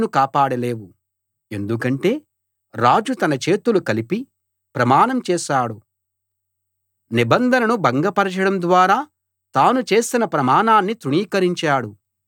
ఎందుకంటే రాజు తన చేతులు కలిపి ప్రమాణం చేశాడు నిబంధనను భంగపరచడం ద్వారా తాను చేసిన ప్రమాణాన్ని తృణీకరించాడు అతడు తప్పించుకోలేడు